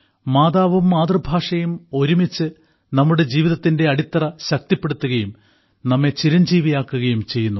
മാതാവും മാതൃഭാഷയും ഒരുമിച്ച് നമ്മുടെ ജീവിതത്തിന്റെ അടിത്തറ ശക്തിപ്പെടുത്തുകയും നമ്മെ ചിരഞ്ജീവിയാക്കുകയും ചെയ്യുന്നു